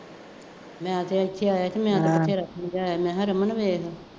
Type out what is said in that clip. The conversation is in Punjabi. ਮੈਂ ਆਖੇ ਇੱਥੇ ਆਇਆ ਸੀ, ਮੈਂ ਤਾਂ ਬਥੇਰਾ ਸਮਝਾਇਆ ਮੈਂ ਕਿਹਾ ਰਮਨ ਵੇਖ